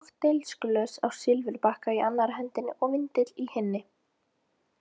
Kokteilglös á silfurbakka í annarri hendi og vindill í hinni.